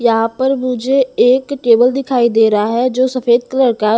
यहां पर मुझे एक टेबल दिखाई दे रहा है जो सफेद कलर का--